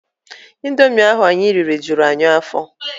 Indomi ahụ anyị riri juru anyị afọ.